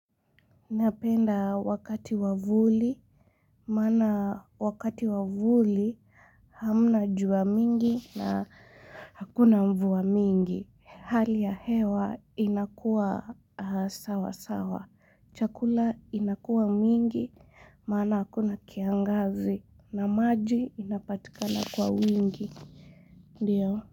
Napenda wakati wa vuli, mana wakati wa vuli hamna jua mingi na hakuna mvua mingi. Hali ya hewa inakua sawa sawa. Chakula inakua mingi, mana hakuna kiangazi na maji inapatikana kwa wingi. Ndiyo.